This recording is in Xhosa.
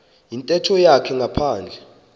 yintetho yakhe ngaphandle